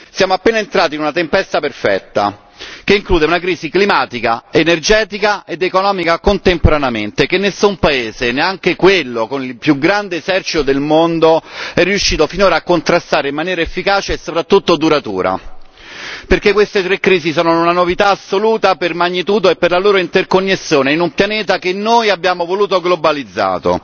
Siamo appena entrati in una tempesta perfetta, che include una crisi climatica, energetica ed economica contemporaneamente, che nessun paese, neanche quello con il più grande esercito del mondo, è riuscito finora a contrastare in maniera efficace e soprattutto duratura, perché queste tre crisi sono una novità assoluta per magnitudo e per la loro interconnessione in un pianeta che noi abbiamo voluto globalizzato.